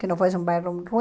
Que não fosse um bairro ruim.